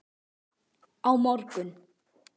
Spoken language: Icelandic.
Á morgun